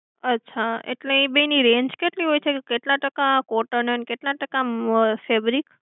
અચ્છા એટલે એ બેયની range કેટલી હોય છે? કેટલા ટકા cotton હોય અને કેટલા ટકા febric?